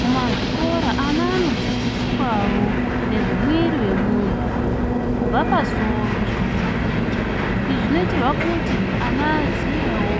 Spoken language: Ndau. Mumazvikora ana anodzidziswawo nezvemwiri wemunthu, kubva pasoro kusvika kumarenje. Izvi zvinoitirwa kuti ana aziyewo